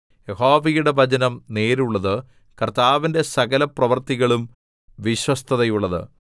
യഹോവയുടെ വചനം നേരുള്ളത് കർത്താവിന്റെ സകലപ്രവൃത്തികളും വിശ്വസ്തതയുള്ളത്